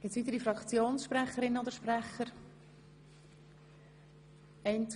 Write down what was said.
Wünschen weitere Fraktionssprecher oder Einzelsprecher das Wort?